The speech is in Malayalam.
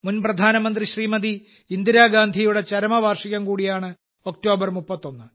മുൻ പ്രധാനമന്ത്രി ശ്രീമതി ഇന്ദിരാഗാന്ധിയുടെ ചരമവാർഷികം കൂടിയാണ് ഒക്ടോബർ 31